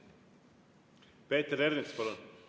Peeter Ernits, palun!